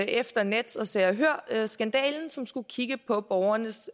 efter nets og se og hør skandalen som skulle kigge på borgernes